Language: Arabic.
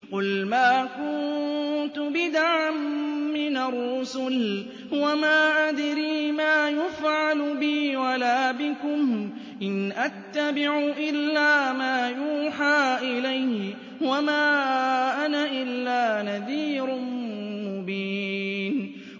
قُلْ مَا كُنتُ بِدْعًا مِّنَ الرُّسُلِ وَمَا أَدْرِي مَا يُفْعَلُ بِي وَلَا بِكُمْ ۖ إِنْ أَتَّبِعُ إِلَّا مَا يُوحَىٰ إِلَيَّ وَمَا أَنَا إِلَّا نَذِيرٌ مُّبِينٌ